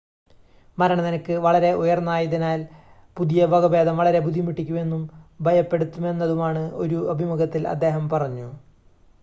മരണ നിരക്ക് വളരെ ഉയർന്നതായതിനാൽ പുതിയ വകഭേദം വളരെ ബുദ്ധിമുട്ടിക്കുന്നതും ഭയപ്പെടുത്തുന്നതുമാണെന്ന് ഒരു അഭിമുഖത്തിൽ അദ്ദേഹം പറഞ്ഞു